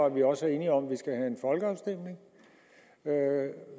at vi også er enige om at vi skal have en folkeafstemning